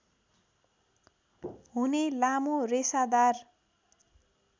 हुने लामो रेसादार